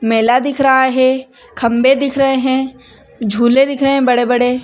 मेला दिख रहा है खम्बे दिख रहे है झूले दिख रहे है बड़े-बड़े--